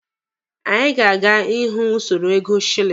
Anyị ga-aga ịhụ usoro ego shilini.